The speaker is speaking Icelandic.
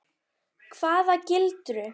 Hvaða gildru?